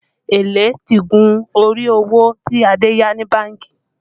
Èlé ti gun orí owó tí Adé yá ní bánkì